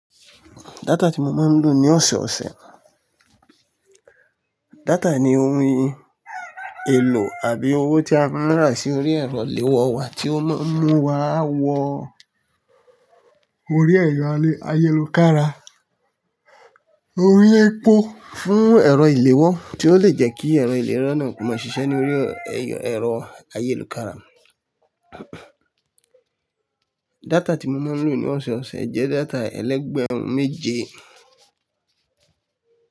Data tí mo máa ń lò ní ọ̀sọ̀ọ̀sẹ̀ náà, data ni ohun èlò àbí owó tí a máa ń rà sí orí ẹ̀rọ ìléwọ́ wa tí ó máa ń mú wa wọ orí ẹ̀rọ ayélukára. Oun ni epo fún ẹ̀rọ ìléwọ́ tí ó lè jẹ́ kí ẹ̀rọ ìléwọ́ náà kó máa ṣiṣẹ́ ní orí ẹ̀rọ ayélukára. Data tí mo máa ń lò ní ọ̀sọ̀ọ̀sẹ̀ jẹ́ data ẹlẹ́gbẹ̀rún méje.